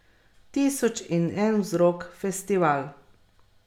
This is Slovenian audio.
Tisoč in en vzrok, festival.